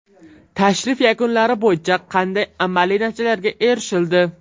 Tashrif yakunlari bo‘yicha qanday amaliy natijalarga erishildi?